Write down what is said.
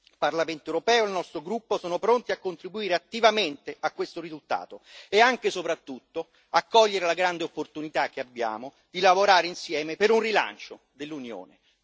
Il Parlamento europeo e il nostro gruppo sono pronti a contribuire attivamente a questo risultato e anche, soprattutto, a cogliere la grande opportunità che abbiamo di lavorare insieme per un rilancio dell'Unione.